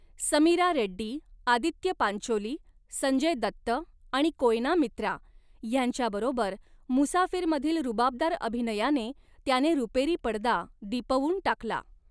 समीरा रेड्डी, आदित्य पांचोली, संजय दत्त आणि कोयना मित्रा ह्यांच्याबरोबर, मुसाफिरमधील रुबाबदार अभिनयाने, त्याने रुपेरी पडदा दिपवून टाकला.